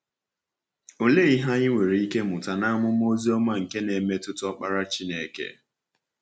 Ọ̀lee ihe anyị nwere ike mụta n’amụma Ozioma nke na-emetụta Ọkpara Chineke?